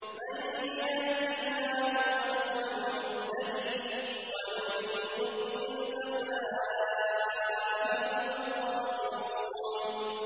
مَن يَهْدِ اللَّهُ فَهُوَ الْمُهْتَدِي ۖ وَمَن يُضْلِلْ فَأُولَٰئِكَ هُمُ الْخَاسِرُونَ